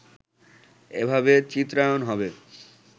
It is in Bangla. এভাবে চিত্রায়ণ হবে